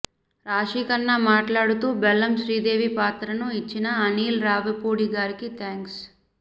రాశిఖన్నా మాట్లాడుతూ బెల్లం శ్రీదేవి పాత్రను ఇచ్చిన అనిల్ రావిపూడి గారికి థాంక్స్